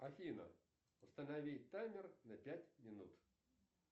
афина установи таймер на пять минут